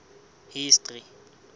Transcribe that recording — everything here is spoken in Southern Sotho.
history